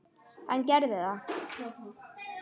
Hann gerði það.